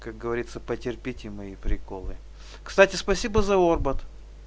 как говорится потерпите мои приколы кстати спасибо за орбат